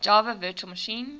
java virtual machine